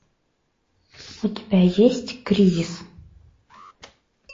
у тебя есть кризис